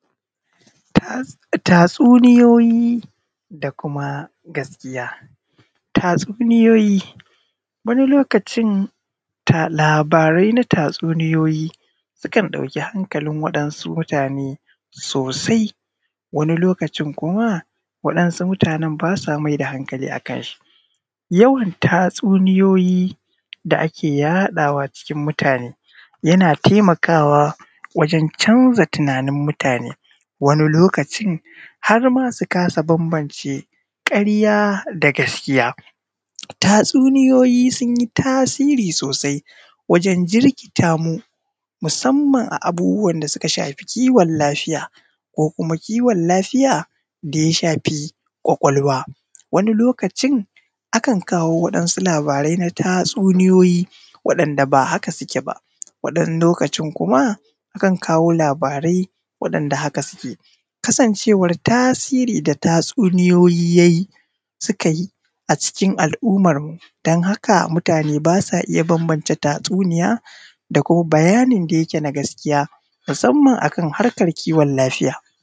Tatsuniyoyi da kuma gaskiya tatsuniyoyi wani lokacin, labarai na tatsuniyoyi sukan ɗauƙi haŋƙalin waɗansu mutune sosai. Wani lokacin kuma waɗansu mutune ba sa mai da haŋƙali akan shi, yawan tatsuniyoyi da ake yaɗawa cikin mutunae da yana taimakawa wajen canza tunanin mutune. Wani lokacin har ma su kasa bambance ƙarya da gaskiya. tatsuniyoyi sun yi tasiri sosai wajen jirƙita mu, musamman a abubuwan da suka shafi kiwon lafiya, ko kuma kiwon lafiya da ya shafi ƙwaƙwalwa. Wani lokacin akan kawo waɗansu labarai na tatsuniyoyi, waɗanda ba haka suke ba. Waɗannan lokacin kuma akan kawo labarai waɗanda haka suke, kasancewan tasiri na tatsuniyoyi yayin da suka yi a cikin al’ummar mu, don haka mutune ba sa iya bambance tatsuniya da kuma bayani da yake na gaskiya, musamman akan harƙan kiwon lafiya.